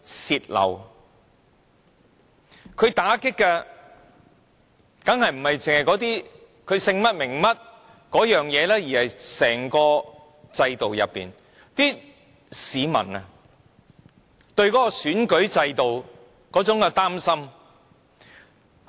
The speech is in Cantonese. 受到打擊的，當然不只是那些人姓甚名誰，而是市民對整個選舉制度那種擔心。